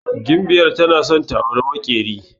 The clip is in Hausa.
Gimbyar tana san ta auri maƙyeri